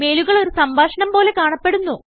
മെയിലുകൾ ഒരു സംഭാഷണം പോലെ കാണപ്പെടുന്നു